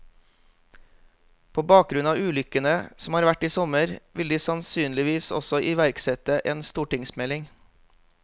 På bakgrunn av ulykkene som har vært i sommer, vil de sannsynligvis også iverksette en stortingsmelding.